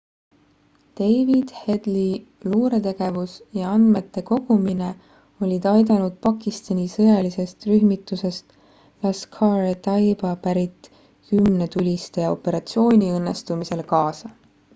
david headley luuretegevus ja andmete kogumine olid aidanud pakistani sõjalisest rühmitusest laskhar-e-taiba pärit 10 tulistaja operatsiooni õnnestumisele kaasa